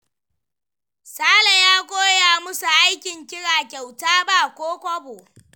Sale ya koya musu aikin ƙira kyauta ba ko kwabo.